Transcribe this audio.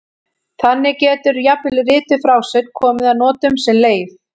Þannig getur jafnvel rituð frásögn komið að notum sem leif.